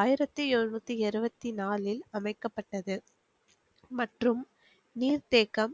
ஆயிரத்தி எழுநூத்தி இருவத்தி நாளில் அமைக்கப்பட்டது மற்றும் நீர் தேக்கம்.